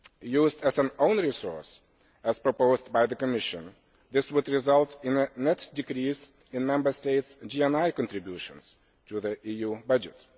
Used as an own resource as proposed by the Commission, this would result in a net decrease in Member States' GMI contributions to the EU budget.